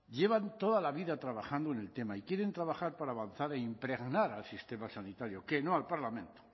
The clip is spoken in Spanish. llevan toda la vida trabajando en el tema y quieren trabajar para avanzar e impregnar al sistema sanitario que no al parlamento